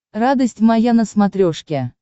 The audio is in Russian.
радость моя на смотрешке